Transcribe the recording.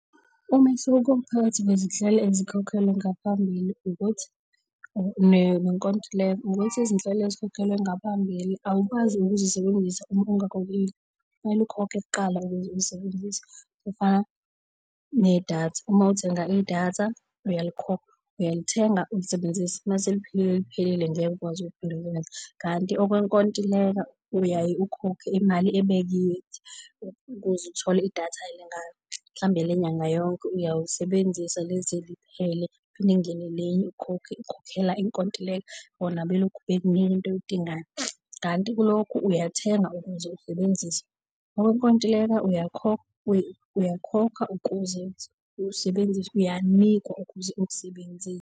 Umehluko phakathi kwezinhlelo ezikhokhelwe ngaphambili ukuthi nenkontileka ukuthi izinhlelo ezikhokhelwe ngaphambili awukwazi ukuzisebenzisa uma ungakhokhile wakithi kumele ukhokhe kuqala ukuze uzisebenzise okufana nedatha. Uma uthenga idatha , uyalithenga ulisebenzise. Mase liphelile liphelile, ngeke ukwazi kanti okwenkontileka uyaye ukhokhe imali ebekiwe ukuze uthole idatha elingaka mhlawumbe elenyanga yonke uyawulisebenzisa lize liphele kuphinde kungene elinye, ukhokhe ukhokhela inkontileka bona belokhu bekunika into oyidingayo. Kanti kulokhu uyathenga ukuze usebenzise okwenkontileka uyakhokha ukuze usebenzise, uyanikwa ukuze ukusebenzise.